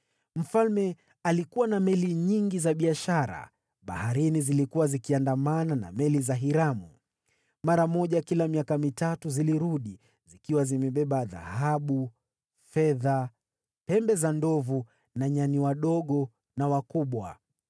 Mfalme alikuwa na meli nyingi za biashara baharini zilizokuwa zikiandamana na meli za Hiramu. Kwa mara moja kila miaka mitatu zilirudi, zikiwa zimebeba dhahabu, fedha, pembe za ndovu na nyani wakubwa na wadogo.